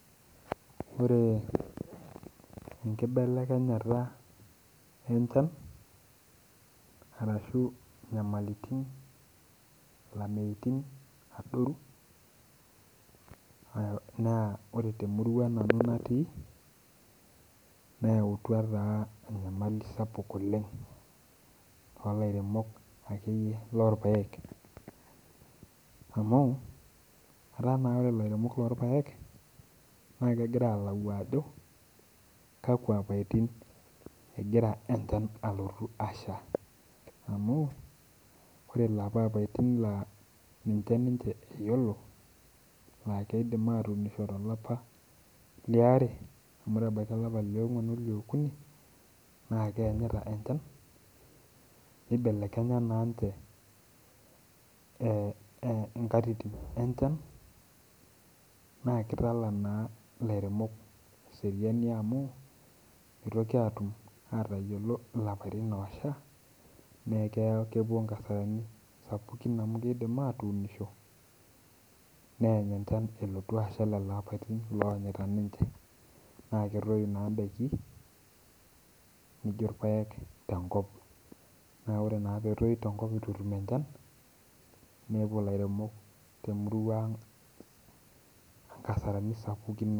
Ore enkibelekenyata e enchan, arashu inyamaliritin, ilameitin naadoru naa ore te murua nanu natii neatua taa enyamali sapuk oleng too ilairemok ake iyie loo irpaek amu ataa naa ore ilairemok loo irpaek naa kegira ayiolou ajo kakwa ilapatin egira enchan alotu asha amuu kore lapa ilapaitin laa ninche iyolo ajo eidim atuunisho te lapa leare mu eton ebaki ilapa le ongwan ole okuni, naa keanyita enchan neibelekenya naa ninche enkatitin enchan, naa keitala naa ilairemok seriani amuu meitoki aatuum atayiolo ilapatin laasha naa kepo inkasarani amu keidim atuunisho neany enchan elotu asha ilo lapatin loanyita ninche, naa ketoi naa indaki nijo irpaek tenkop, naa ore na ore peetoi tenkop neitu etum enchan neaku ilairemok te murua aang enkasarani sapukin.